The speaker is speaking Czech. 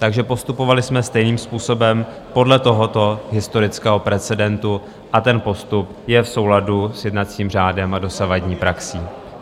Takže postupovali jsme stejným způsobem podle tohoto historického precedentu a ten postup je v souladu s jednacím řádem a dosavadní praxí.